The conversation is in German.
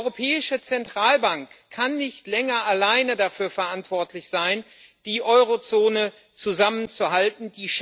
Die Europäische Zentralbank kann nicht länger alleine dafür verantwortlich sein, die Eurozone zusammenzuhalten.